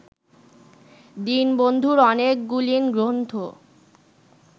দীনবন্ধুর অনেকগুলিন গ্রন্থ